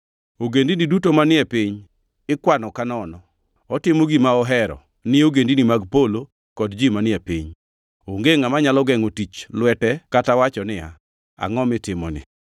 Ogendini duto manie piny ikwano ka nono. Otimo gima ohero ni ogendini mag polo kod ji manie piny. Onge ngʼama nyalo gengʼo tich lwete kata wacho niya, “Angʼo mitimoni?”